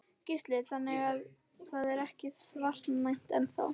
Gísli: Þannig að það er ekki svartnætti enn þá?